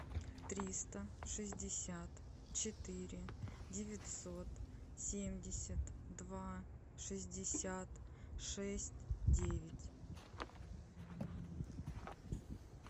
триста шестьдесят четыре девятьсот семьдесят два шестьдесят шесть девять